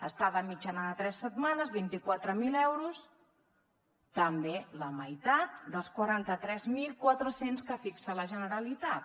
estada mitjana de tres setmanes vint quatre mil euros també la meitat dels quaranta tres mil quatre cents que fixa la generalitat